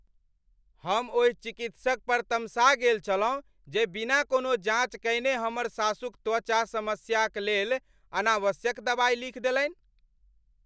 हम ओहि चिकित्सक पर तमसा गेल छलहुँ जे बिना कोनो जाँच कएने हमर सासुक त्वचा समस्याक लेल अनावश्यक दबाइ लिखि देलनि।